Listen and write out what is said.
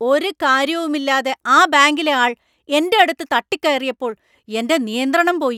ഒരു കാര്യവും ഇല്ലാതെ ആ ബാങ്കിലെ ആൾ എൻ്റെ അടുത്ത് തട്ടിക്കയറിയപ്പോൾ എൻ്റെ നിയന്ത്രണം പോയി.